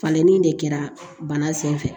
Falenni de kɛra bana sen fɛ